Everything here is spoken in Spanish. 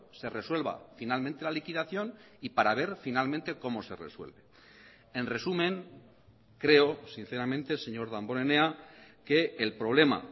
se resuelva finalmente la liquidación y para ver finalmente cómo se resuelve en resumen creo sinceramente señor damborenea que el problema